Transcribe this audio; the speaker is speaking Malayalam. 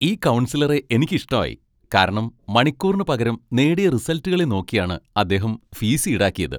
ഈ കൗൺസിലറെ എനിക്ക് ഇഷ്ടായി, കാരണം മണിക്കൂറിന് പകരം നേടിയ റിസൽറ്റുകളെ നോക്കിയാണ് അദ്ദേഹം ഫീസ് ഈടാക്കിയത്.